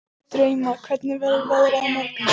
Drauma, hvernig verður veðrið á morgun?